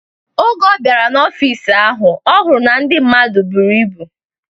Oge ọ bịara n'ọfịs ahụ, ọ hụrụ na ndị mmadụ buru ibu.